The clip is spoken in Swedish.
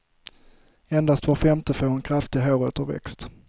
Endast var femte får en kraftig håråterväxt.